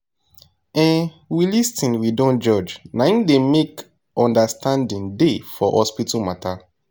um we lis ten we dont judge naim dey help make understanding da for hospital matter